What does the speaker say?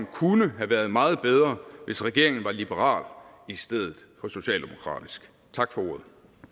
kunne have været meget bedre hvis regeringen var liberal i stedet for socialdemokratisk tak for